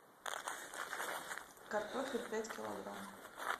картофель пять килограмм